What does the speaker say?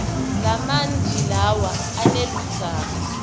lamanti lawa aneludzaka